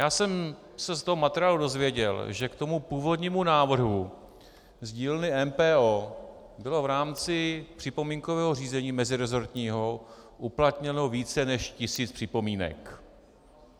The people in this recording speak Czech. Já jsem se z toho materiálu dozvěděl, že k tomu původnímu návrhu z dílny MPO bylo v rámci připomínkového řízení mezirezortního uplatněno více než tisíc připomínek.